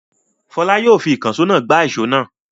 Fọlá yóò fi ìkànṣó náà gbá ìṣó náà.